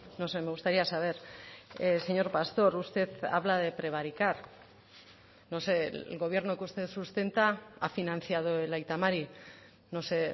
no sé me gustaría saber señor pastor usted habla de prevaricar no sé el gobierno que usted sustenta ha financiado el aita mari no sé